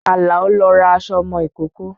Àlàó lọ ra aṣọ ọmọ ìkókó